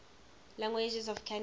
languages of canada